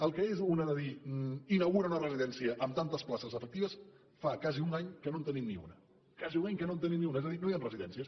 el que és una de dir inaugura una residència amb tantes places efectives fa quasi un any que no en tenim ni una quasi un any que no en tenim ni una és a dir no hi han residències